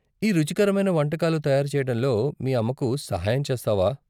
ఈ రుచికరమైన వంటకాలు తయారు చేయటంలో మీ అమ్మకు సహాయం చేస్తావా?